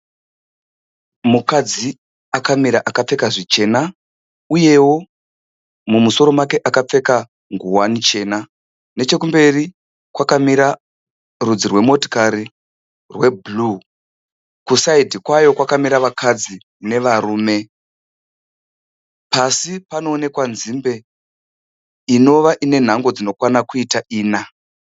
Mukadzi akamira akapfeka zvichena uyeo mumusoro make akapfeka ngowani chena. Nechekumberi kwakamira rudzi rwemotokari rweblue. Kusaidhi kwayo kwakamira vakadzi nevarume. Pasi panoonekwa nzimbe inova ine nhango dzinokwana kuita ina.